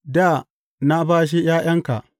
da na bashe ’ya’yanka.